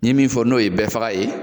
N min fɔ n'o ye bɛɛ faga ye